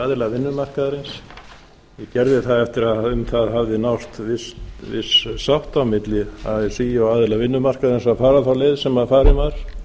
aðila vinnumarkaðarins ég gerði það eftir að um það hafði náðst viss sátt milli así og aðila vinnumarkaðarins að fara þá leið sem farin var